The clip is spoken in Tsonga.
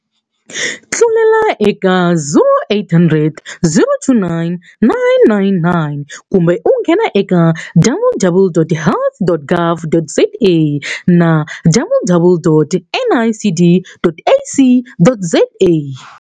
Tlulela eka 0800 029 999 kumbe u nghena eka www.health.gov.za na www.nicd.ac.za